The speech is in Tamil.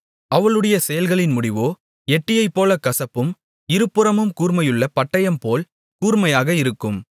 அவளுடைய செயல்களின் முடிவோ எட்டியைப்போலக் கசப்பும் இருபுறமும் கூர்மையுள்ள பட்டயம்போல் கூர்மையுமாக இருக்கும்